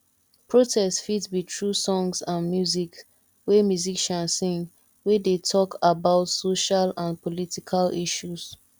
protests fit be through songs and music wey musician sing wey de talk about social and political issues